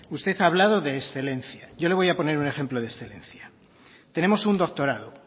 usted ha hablado de excelencia yo le voy a poner un ejemplo de excelencia tenemos un doctorado